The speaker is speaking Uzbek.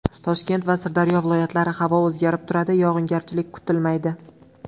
Toshkent va Sirdaryo viloyatlari Havo o‘zgarib turadi, yog‘ingarchilik kutilmaydi.